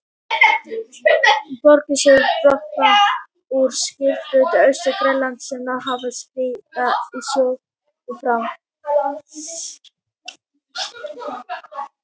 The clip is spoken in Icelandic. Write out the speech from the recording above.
Borgarís hefur brotnað úr skriðjöklum Austur-Grænlands sem náð hafa að skríða í sjó fram.